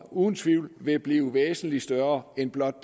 uden tvivl vil blive væsentligt større end blot